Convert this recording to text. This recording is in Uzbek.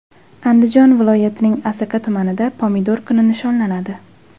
Andijon viloyatining Asaka tumanida Pomidor kuni nishonlanadi.